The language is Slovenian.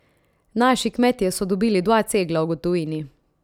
Naši kmetje so dobili dva cegla v gotovini.